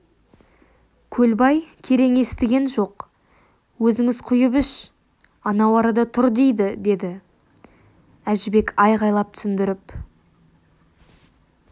көлбай керең естіген жоқ өзіңіз құйып іш анау арада тұр дейді деді әжібек айқайлап түсіндіріп